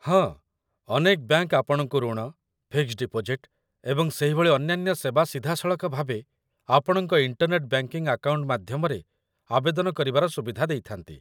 ହଁ, ଅନେକ ବ୍ୟାଙ୍କ ଆପଣଙ୍କୁ ଋଣ, ଫିକ୍ସଡ୍ ଡିପୋଜିଟ, ଏବଂ ସେହିଭଳି ଅନ୍ୟାନ୍ୟ ସେବା ସିଧାସଳଖ ଭାବେ ଆପଣଙ୍କ ଇଣ୍ଟର୍ନେଟ ବ୍ୟାଙ୍କିଙ୍ଗ ଆକାଉଣ୍ଟ ମାଧ୍ୟମରେ ଆବେଦନ କରିବାର ସୁବିଧା ଦେଇଥାନ୍ତି